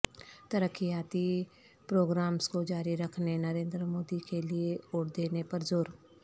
ترقیاتی پروگرامس کو جاری رکھنے نریندر مودی کے لیے ووٹ دینے پر زور